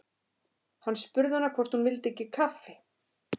Hann spurði hana hvort hún vildi ekki kaffi.